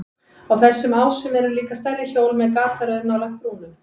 Á þessum ásum eru líka stærri hjól með gataröð nálægt brúnum.